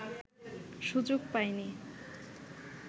সুযোগ পায়নি